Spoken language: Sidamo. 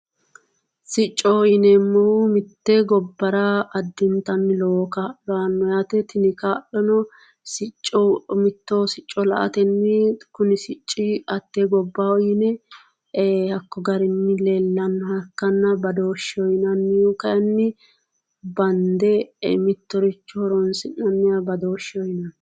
Siccoho yineemohu mitte gobara addinitanni lowo kaa'lo aanno yaate tini kaa'lono sicco mitto sicco la"atenni kuni sicci hatte gobbaho yine hakko garinni leelannoha ikkana badoosheho yinannihu kayinni banidde mittoricho horonisi'naniha badoosheho yinanni